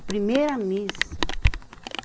A primeira missa.